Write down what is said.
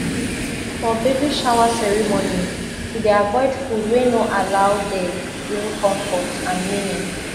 for baby shower ceremony to dey avoid food wey no allow dey bring comfort and meaning